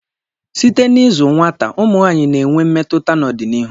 site na ịzụ nwata ,ụmụ nwanyị na-enwe mmetụta n'ọdịnihu